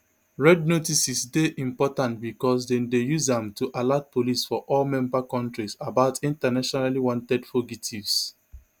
red notices dey important bicos dem dey use am to alert police for all member kontris about internationally wanted fugitives